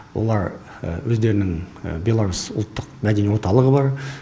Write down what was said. олар өздерінің беларусь ұлттық мәдени орталығы бар